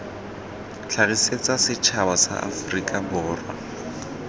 tlhagisetsa setšhaba sa aforika borwa